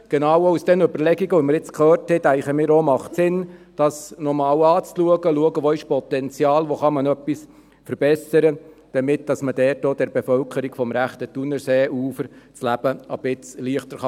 Genau aufgrund der Überlegungen, die wir jetzt gehört haben, denken wir auch, dass es Sinn macht, dies nochmal anzuschauen und zu schauen, wo es Potenzial gibt oder wo man etwas verbessern kann, damit man der Bevölkerung des rechten Thunerseeufers das Leben etwas erleichtern kann.